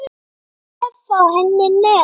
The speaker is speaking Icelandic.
Reynir að vefa henni net.